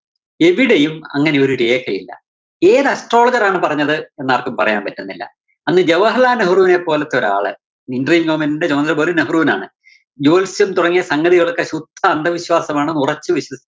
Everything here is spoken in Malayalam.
എവിടെയും അങ്ങിനെയൊരു രേഖയില്ല. ഏത് astrologer ആണ് പറഞ്ഞത് എന്നാര്‍ക്കും പറയാന്‍ പറ്റുന്നില്ല. അന്ന് ജവഹര്‍ലാല്‍ നെഹ്രുവിനെ പോലത്തൊരാള് moment ന്റെ ചുമതല വെറും നെഹ്രുവിനാണ്. ജോത്സ്യം തുടങ്ങിയ സംഗതികളൊക്കെ ശുദ്ധ അന്ധവിശ്വാസമാണെന്ന് ഉറച്ചു വിശ്വ~